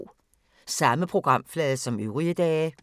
Samme programflade som øvrige dage